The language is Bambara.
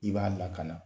I b'a lakana